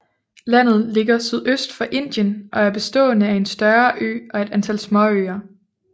Landet ligger sydøst for Indien og er bestående af en større ø og et antal småøer